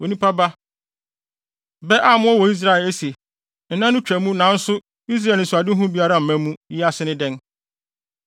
“Onipa ba, bɛ a mowɔ wɔ Israel a ese, ‘Nna no twa mu nanso Israel anisoadehu biara mma mu,’ yi ase ne dɛn?